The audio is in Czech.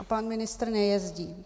A pan ministr nejezdí.